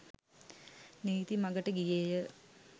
නීති මඟට ගියේය.